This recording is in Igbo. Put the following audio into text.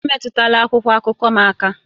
Emetụla akwụkwọ akụkọ m aka!